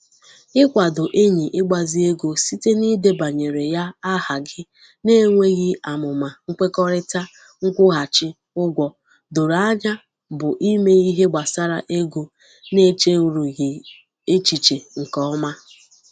Ikwado enyị igbazi ego site n'idebanyere ya áhà gị na-enweghi amụma nkwekọrịta nkwughachi ụgwọ dọrọ anya bụ ime Ihe gbasara ego n'echerughị echiche nke ọma.